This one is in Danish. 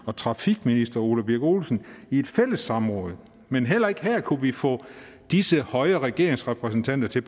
og trafikminister ole birk olesen i et fælles samråd men heller ikke her kunne vi få disse høje regeringsrepræsentanter til